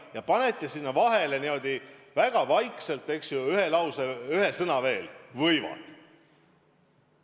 Ja panete lausesse niimoodi väga vaikselt vahele ühe sõna: "võivad".